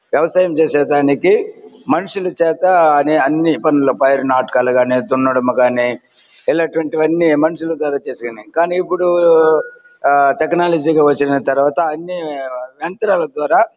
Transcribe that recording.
వ్యవసాయం చేసే దానికి మనుషుల చేత మనుషుల చేత అన్ని పనులు పైరు నాటకం గాని దున్నడం గాని ఇలాంటి వంటివి అన్నీ మనుషుల ద్వారా చేసావని కానీ ఇప్పుడు ఆ టెక్నాలజీ వచ్చిన తరవాత అన్ని యంత్రాల ద్వారా --